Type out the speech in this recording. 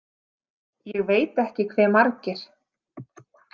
Ég veit ekki hve margir.